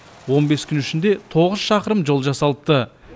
он бес күн ішінде тоғыз шақырым жол жасалыпты